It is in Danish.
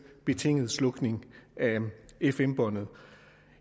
betinget slukning af fm båndet